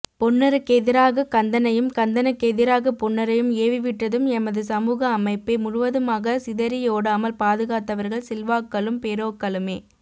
பொன்னருக்கெதிராக கந்தனையும் கந்தனுக் கெதிராக பொன்னரை ஏவிவிட்டதும் எமது சமூகஅமைப்பே முழுவதுமாகக சிதறியோடாமல் பாதுகாத்தவர்கள் சில்வாக்களும் பெரோக்களுமே